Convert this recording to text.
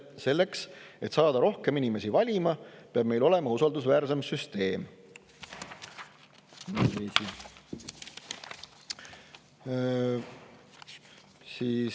Selleks et saada rohkem inimesi valima, peab meil olema usaldusväärsem süsteem.